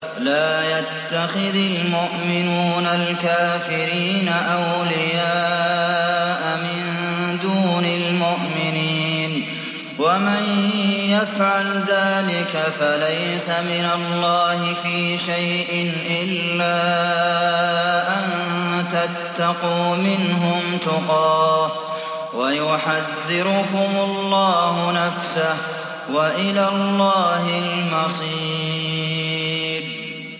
لَّا يَتَّخِذِ الْمُؤْمِنُونَ الْكَافِرِينَ أَوْلِيَاءَ مِن دُونِ الْمُؤْمِنِينَ ۖ وَمَن يَفْعَلْ ذَٰلِكَ فَلَيْسَ مِنَ اللَّهِ فِي شَيْءٍ إِلَّا أَن تَتَّقُوا مِنْهُمْ تُقَاةً ۗ وَيُحَذِّرُكُمُ اللَّهُ نَفْسَهُ ۗ وَإِلَى اللَّهِ الْمَصِيرُ